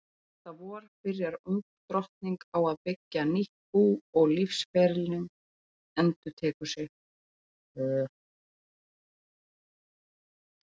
Næsta vor byrjar ung drottning á að byggja nýtt bú og lífsferillinn endurtekur sig.